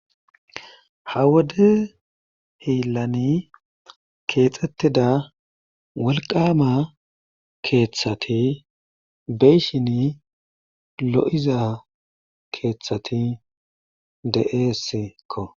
Ha wode hiilani keexetida wolqqama keeththati de'ishin lo'iza keethati de'eesikko.